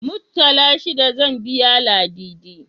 Muttala shida zan biya Ladidi.